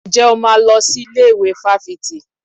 Ǹjẹ́ o máa lọ sí ilé ìwé fáfitì?